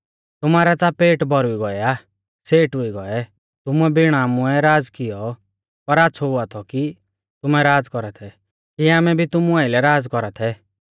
तुमारै ता पेट भौरुइ गौऐ आ सेठ हुई गौऐ तुमुऐ बिण आमुऐ राज़ कियौ पर आच़्छ़ौ हुआ थौ कि तुमै राज़ कौरा थै कि आमै भी तुमु आइलै राज़ कौरा थै